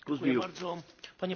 Panie Przewodniczący!